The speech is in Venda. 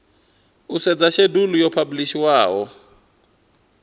u sedza shedulu yo phabulishiwaho